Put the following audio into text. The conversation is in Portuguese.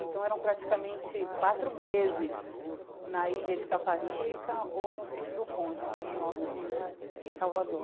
Então, eram praticamente quatro meses na ilha de Taparica ou no sítio do Conde, que é no norte de Salvador.